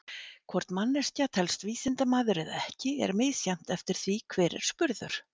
Hvort manneskja telst vísindamaður eða ekki er misjafnt eftir því hver er spurður.